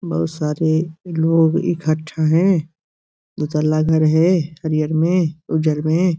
बहोत सारे लोग इकट्ठा हैं। दोतला घर है हरीहर में उज्जर में।